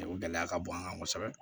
O gɛlɛya ka bon an kan kosɛbɛ